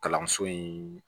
Kalanso in